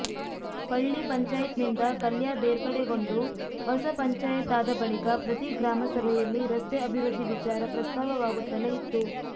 ಪಳ್ಳಿ ಪಂಚಾಯತ್ನಿಂದ ಕಲ್ಯಾ ಬೇರ್ಪಡೆಗೊಂಡು ಹೊಸ ಪಂಚಾಯತ್ ಆದ ಬಳಿಕ ಪ್ರತಿ ಗ್ರಾಮಸಭೆಯಲ್ಲಿ ರಸ್ತೆ ಅಭಿವೃದ್ಧಿ ವಿಚಾರ ಪ್ರಸ್ತಾವವಾಗುತ್ತಲೇ ಇತ್ತು